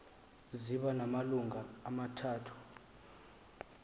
ziba namalungu amathathu